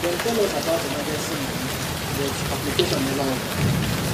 dem tell us about emergency money but application never open